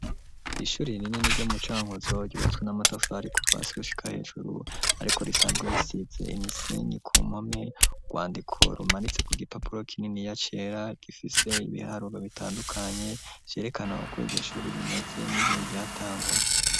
ishuri rinini ryo mu Cankuzo ryubatswe n'amatafari kuva hasi gushika hejuru, ariko risanzwe risize imisenyi ku npome urwandiko rumanitse ku gipapuro k'ininiya cera gifise ibiharuro bitandukanye ryerekana uko ishuri rimeze n'igihe ryatangura.